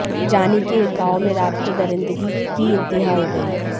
जानी के एक गांव में रात को दरिंदगी की इंतहा हो गई